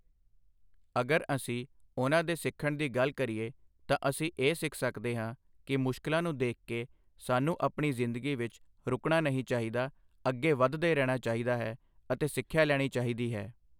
ਅਗਰ ਅਸੀਂ ਉਹਨਾਂ ਦੇ ਸਿੱਖਣ ਦੀ ਗੱਲ ਕਰੀਏ ਤਾਂ ਅਸੀਂ ਇਹ ਸਿੱਖ ਸਕਦੇ ਹਾਂ ਕਿ ਮੁਸ਼ਕਲਾਂ ਨੂੰ ਦੇਖਕੇ ਸਾਨੂੰ ਆਪਣੀ ਜ਼ਿੰਦਗੀ ਵਿੱਚ ਰੁਕਣਾ ਨਹੀਂ ਚਾਹੀਦਾ ਅੱਗੇ ਵੱਧਦੇ ਰਹਿਣਾ ਚਾਹੀਦਾ ਹੈ ਅਤੇ ਸਿੱਖਿਆ ਲੈਣੀ ਚਾਹੀਦੀ ਹੈ